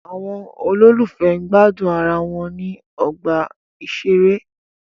Àwọn olólùfẹ́ gbádùn ara wọn ní ọgbà ìṣeré.